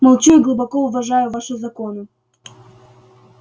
молчу и глубоко уважаю ваши законы